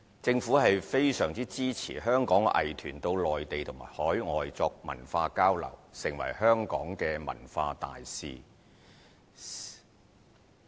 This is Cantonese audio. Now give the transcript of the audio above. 政府非常支持香港藝團到內地及海外作文化交流，成為香港的文化大使。